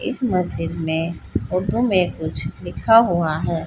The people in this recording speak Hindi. इस मस्जिद में उर्दू में कुछ लिखा हुआ है।